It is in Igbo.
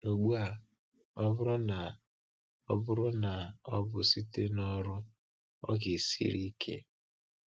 Ugbu a, ọ bụrụ na ọ bụrụ na ọ bụ site n’ọrụ, ọ ga-esiri ike.